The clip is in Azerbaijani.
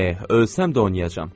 Eh, ölsəm də oynayacağam.